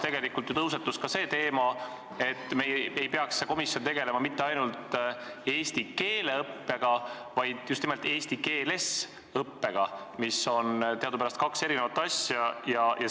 Tegelikult tõusetus ka see teema, et see komisjon ei peaks tegelema mitte ainult eesti keele õppega, vaid just nimelt eesti keeles õppega, mis on teadupärast kaks erinevat asja.